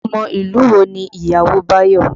Ọmọ ìlú wo ni ìyàwó Bayo?